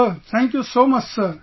Sir thank you so much sir